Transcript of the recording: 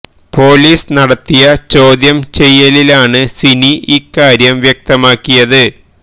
police നടത്തിയ ചോദ്യം ചെയ്യലിലാണ് സിനി ഈ കാര്യം വ്യക്തമാക്കിയത്